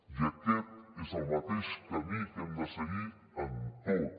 i aquest és el mateix camí que hem de seguir en tot